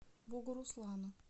бугуруслану